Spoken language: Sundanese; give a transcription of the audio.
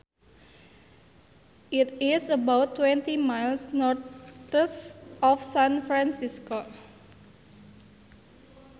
It is about twenty miles northeast of San Francisco